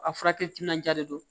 A furakɛli timinandiya de don